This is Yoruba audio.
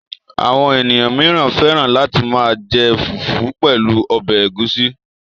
Àwọn ènìyàn mìíràn fẹ́ràn láti máa jẹ fùfú pẹ̀lú ọbẹ̀ ẹ̀gúsí.